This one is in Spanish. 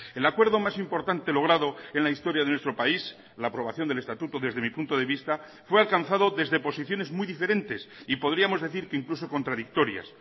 el acuerdo más importante logrado en la historia de nuestro país la aprobación del estatuto desde mi punto de vista fue alcanzado desde posiciones muy diferentes y podríamos decir que incluso contradictorias